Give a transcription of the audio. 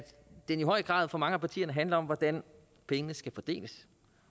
den i høj grad for mange partier handler om hvordan pengene skal fordeles